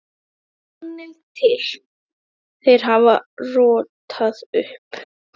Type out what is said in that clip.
En sannið til: Þeir hafa rótað upp.